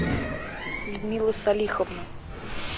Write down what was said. людмила салиховна